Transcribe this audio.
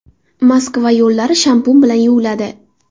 Moskva yo‘llari shampun bilan yuviladi.